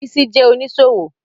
Bísí jẹ́ oníṣòwò